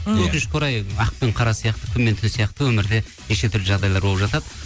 өкінішке орай ақ пен қара сияқты күн мен түн сияқты өмірде неше түрлі жағдайлар болып жатады